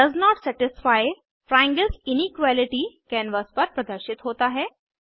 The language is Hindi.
does not satisfy triangles inequality canvas पर प्रदर्शित होता है